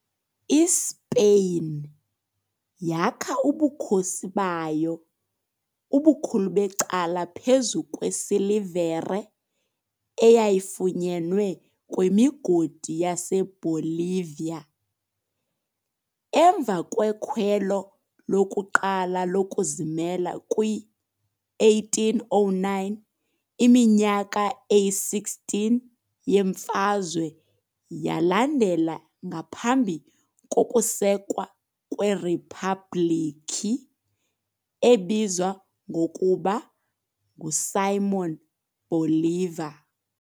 ISpeyin yakha ubukhosi bayo ubukhulu becala phezu kwesilivere eyayifunyenwe kwimigodi yaseBolivia. Emva kwekhwelo lokuqala lokuzimela kwi-1809, iminyaka eyi-16 yemfazwe yalandela ngaphambi kokusekwa kweRiphabhlikhi, ebizwa ngokuba nguSimón Bolívar.